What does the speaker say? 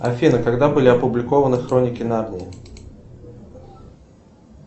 афина когда были опубликованы хроники нарнии